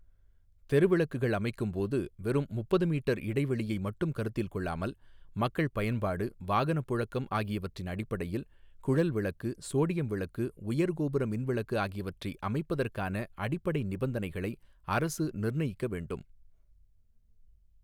தெருவிளக்குகள் அமைக்கும்போது வெறும் முப்பது மீட்டர் இடைவெளியை மட்டும் கருத்தில் கொள்ளாமல் மக்கள் பயன்பாடு வாகனப் புழக்கம் ஆகியவற்றின் அடிப்படையில் குழல்விளக்கு சோடியம்விளக்கு உயர்கோபுர மின்விளக்கு ஆகியவற்றை அமைப்பதற்கான அடிப்படை நிபந்தனைகளை அரசு நிர்ணயிக்க வேண்டும்.